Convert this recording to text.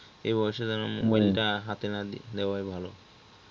এই বয়সে তারা mobile হাতে না দে দেওয়াই ভালো